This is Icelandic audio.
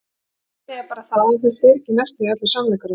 Meinið er bara það, að þetta var ekki næstum því allur sannleikurinn.